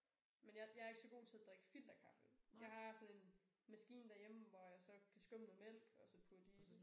Men jeg jeg er ikke så god til at drikke filterkaffe. Jeg har sådan en maskine derhjemme hvor jeg så kan skumme noget mælk og så putte i